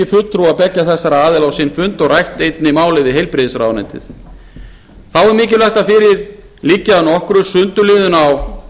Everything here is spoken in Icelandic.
fulltrúa beggja þessara aðila á sinn fund og rætt einnig málið við heilbrigðisráðuneytið þá er mikilvægt að fyrir liggi að nokkru sundurliðun á